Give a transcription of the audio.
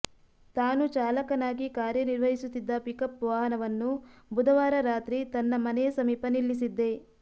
ತಾನು ಚಾಲಕನಾಗಿ ಕಾರ್ಯ ನಿರ್ವಹಿಸುತ್ತಿದ್ದ ಪಿಕಪ್ ವಾಹನವನ್ನು ಬುಧವಾರ ರಾತ್ರಿ ತನ್ನ ಮನೆಯ ಸಮೀಪ ನಿಲ್ಲಿಸಿದ್ದೆ